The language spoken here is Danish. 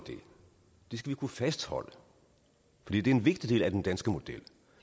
det skal vi kunne fastholde for det er en vigtig del af den danske model